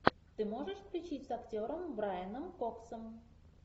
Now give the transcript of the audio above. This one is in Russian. ты можешь включить с актером брайаном коксом